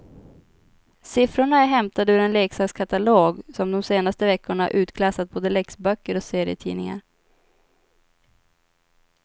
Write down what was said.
Siffrorna är hämtade ur en leksakskatalog som de senaste veckorna utklassat både läxböcker och serietidningar.